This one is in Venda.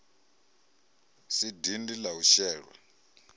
si dindi la u shelwa